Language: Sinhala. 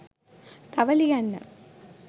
තව ලියන්න